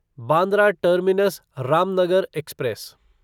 Bandra terminus Ramnagar express